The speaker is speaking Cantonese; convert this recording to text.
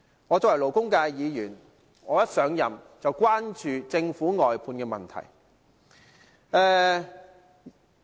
作為勞工界的議員，我上任後便關注政府外判制度的問題。